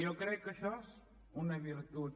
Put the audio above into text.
jo crec que això és una virtut